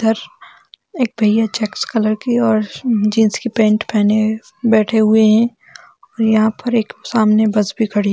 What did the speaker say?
इधर एक भैया चेक्स कलर की और जीन्स की पेन्ट पहने हुए बैठे हुए है और यहाँ पर एक सामने बस भी खड़ी।